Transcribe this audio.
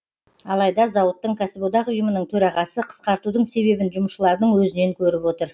алайда зауыттың кәсіподақ ұйымының төрағасы қысқартудың себебін жұмысшылардың өзінен көріп отыр